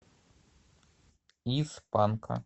из панка